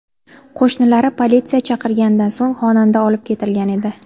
Qo‘shnilari politsiya chaqirganidan so‘ng xonanda olib ketilgan edi.